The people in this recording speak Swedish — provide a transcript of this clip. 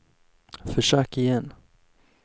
försök igen